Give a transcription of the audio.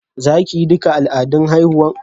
Za ki yi duka al'adun haihuwar?